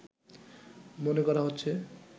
মনে করা হচ্ছে